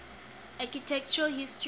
architectural history